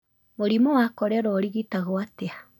Mũrimũ wa korera ũrigitagwo atĩa?